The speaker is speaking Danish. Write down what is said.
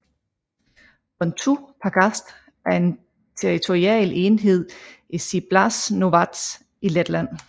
Blontu pagasts er en territorial enhed i Ciblas novads i Letland